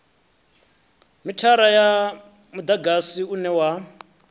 mithara wa mudagasi une wa